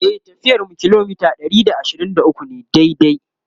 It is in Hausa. e tafiyar mu kilometa Ɗari da ashirin da ukwu ne daidai